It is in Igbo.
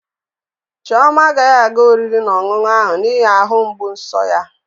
Chioma agaghị aga oriri na ọṅụṅụ ahụ n'ihi ahụ mgbu nso ya.